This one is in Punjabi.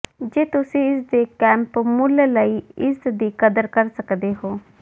ਜੇ ਤੁਸੀਂ ਇਸਦੇ ਕੈਂਪ ਮੁੱਲ ਲਈ ਇਸ ਦੀ ਕਦਰ ਕਰ ਸਕਦੇ ਹੋ